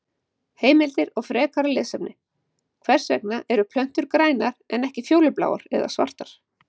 Heimildir og frekara lesefni: Hvers vegna eru plöntur grænar en ekki fjólubláar eða svartar?